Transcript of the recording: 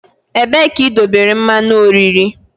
Ebee ka idobere mmanụ oriri?